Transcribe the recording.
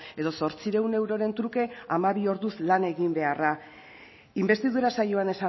edo zortziehun euroren truke hamabi orduz lan egin beharra inbestidura saioan